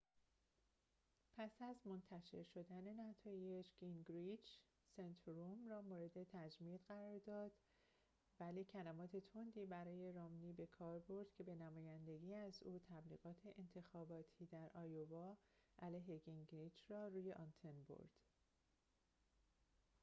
پس از منتشر شدن نتایج گینگریچ سنتوروم را مورد تمجید قرار داد ولی کلمات تندی برای رامنی بکار برد که به نمایندگی از او تبلیغات انتخاباتی در آیووا علیه گینگریچ را روی آنتن برد